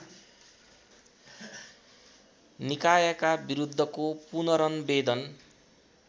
निकायका विरुद्धको पुनरनवेदन